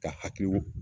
Ka hakili